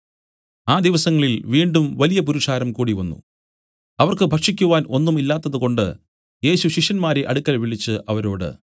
ആ ദിവസങ്ങളിൽ വീണ്ടും വലിയ പുരുഷാരം കൂടിവന്നു അവർക്ക് ഭക്ഷിക്കുവാൻ ഒന്നും ഇല്ലാത്തതുകൊണ്ട് യേശു ശിഷ്യന്മാരെ അടുക്കൽ വിളിച്ചു അവരോട്